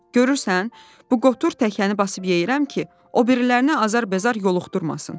Görürsən, bu qotur təkəni basıb yeyirəm ki, o birilərinə azar-bezar yoluxdurmasın.”